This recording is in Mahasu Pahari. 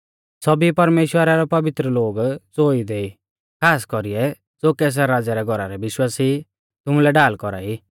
सौभी परमेश्‍वरा रै पवित्र लोग ज़ो इदै ई खास कौरीऐ ज़ो कैसर राज़ै रै घौरा रै विश्वासी ई तुमुलै ढाल कौरा ई